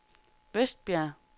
Vestbjerg